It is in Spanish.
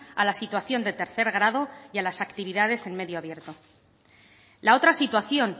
a la situación de tercer grado y a las actividades en medio abierto la otra situación